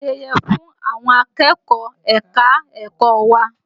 Wọ́n ń ṣe ayẹyẹ fún àwọn akẹ́kọ̀ọ́ ẹ̀ka-ẹ̀kọ́ wa